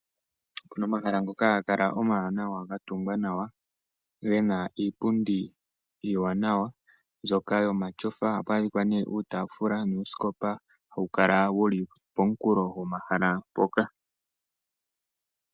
Okuna omahala ngoka haga kala omawanawa, gatungwa nawa gena iipundi iiwanawa mbyoka yomatyofa, oha pu adhika ne, uutaafula nuusikopa ha wu kala wuli pomukulo gomahala mpoka.